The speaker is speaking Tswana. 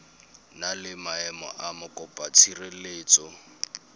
na le maemo a mokopatshireletso